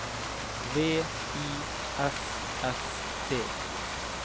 V I S S T